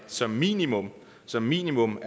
som minimum som minimum